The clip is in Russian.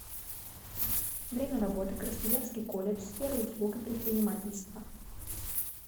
время работы красноярский колледж сферы услуг и предпринимательства